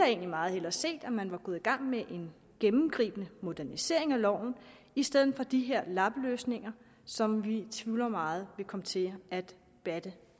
egentlig meget hellere set at man var gået i gang med en gennemgribende modernisering af loven i stedet for de her lappeløsninger som vi tvivler meget vil komme til at batte